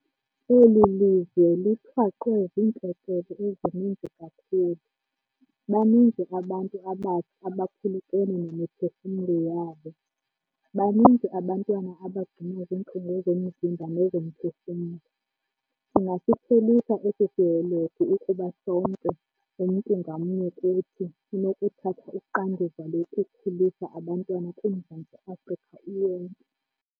Eli lizwe lithwaxwe ziintlekele ezininzi kakhulu. Baninzi abantu abatsha abaphulukene nemiphefumlo yabo, baninzi abantwana abagcuma zintlungu zomzimba nezomphefumlo. Singasiphelisa esi sihelegu ukuba sonke, umntu ngamnye kuthi, unokuthatha uxanduva lokukhulisa abantwana kuMzantsi Afrika uwonke.